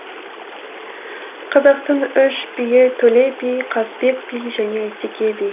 қазақтың үш биі төле би қазыбек би және әйтеке би